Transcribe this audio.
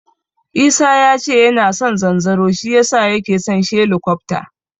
Isa yace yana son zanzaro shi yasa yake son shelikofta.